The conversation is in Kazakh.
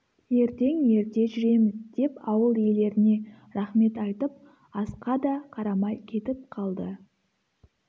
ертең ерте жүреміз деп ауыл иелеріне рақмет айтып асқа да қарамай кетіп қалды